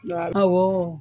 awɔɔ